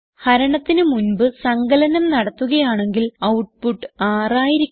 ഹരണത്തിന് മുൻപ് സങ്കലനം നടത്തുകയാണെങ്കിൽ ഔട്ട്പുട്ട് 6 ആയിരിക്കും